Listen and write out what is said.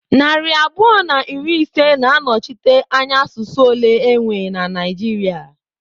Narị abụọ na iri ise na-anọchite anya asụsụ ole enwe na Naịjirịa.